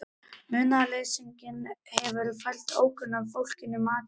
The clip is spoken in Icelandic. Munaðarleysinginn hefur fært ókunna fólkinu mat í rúmið.